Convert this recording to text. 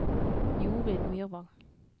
Jorid Myrvang